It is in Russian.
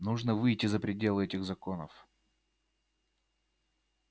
нужно выйти за пределы этих законов